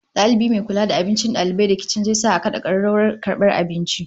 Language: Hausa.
Dalibi mai kula da abincin dalibai da kicin zai sa a kada kararrawar karbar abinci